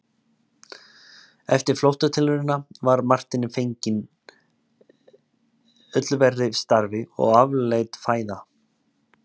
Eftir flóttatilraunina var Marteini fenginn öllu verri starfi og afleitt fæði.